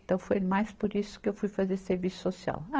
Então, foi mais por isso que eu fui fazer serviço social.